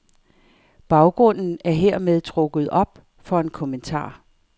Baggrunden er hermed trukket op for en kommentar.